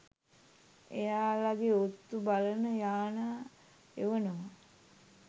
එයාලගෙ ඔත්තු බලන යානා එවනව